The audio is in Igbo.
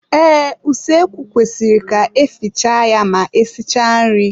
Ee, usoekwu kwesịrị ka efiche ya ma esichaa nri.